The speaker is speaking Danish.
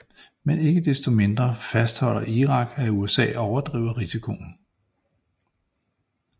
Men ikke desto mindre fastholder Irak at USA overdriver risikoen